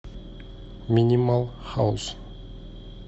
минимал хаус